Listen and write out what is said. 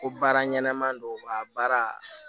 Ko baara ɲɛnɛman don wa baara